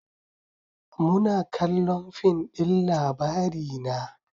Muna kallon fin din Labarina